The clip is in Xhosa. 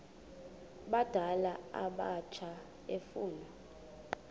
abadala abatsha efuna